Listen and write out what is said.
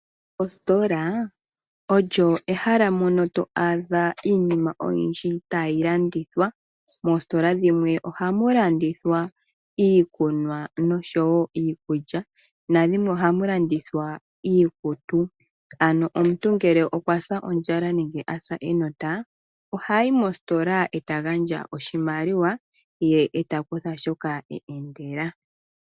Ostola olyo ehala mono to adha iimina oyindji tayi landithwa. Moostola dhimwe ohamu landitha iikunwa nosho wo iikulya na dhimwe ohamu landithwa iikutu. Ano omuntu ngele okwa sa ondjala nenge a sa enota ,ohayi mostola e ta gandja oshimaliwa ye e ta kutha shoka a endela.